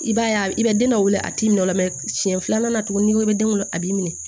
I b'a ye a i bɛ den dɔ wele a t'i minɛ o la siɲɛ filanan na tuguni ni ko bɛ den kɔnɔ a b'i minɛ